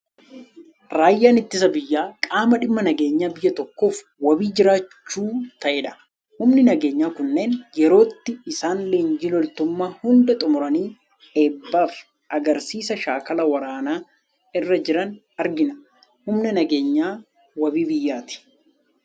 Raayyaan ittisa biyyaa, qaama dhimma nageenya biyya tokkoof wabii jiraachuu ta'edha. Humni nageenyaa kunneen yerootti isaan leenjii loltummaa hunda xumuranii, eebbaaf agarsiisa shaakala waraanaa irra jiran argina. Humni nageenyaa wabii biyyaatti.